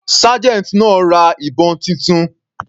Sergeant náà ra ìbọn titun.